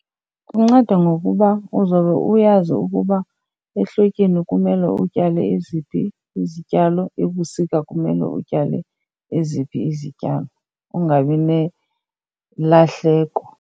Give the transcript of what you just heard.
Kunceda ngokuba uzobe uyazi ukuba ehlotyeni kumele utyale eziphi izityalo, ebusika kumele utyale eziphi izityalo ungabi nelahleko.